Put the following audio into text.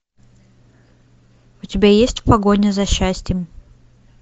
у тебя есть погоня за счастьем